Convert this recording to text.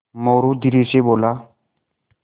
मोरू धीरे से बोला